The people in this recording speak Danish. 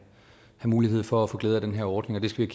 mulighed for at få glæde af den her ordning det skal